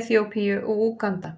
Eþíópíu og Úganda.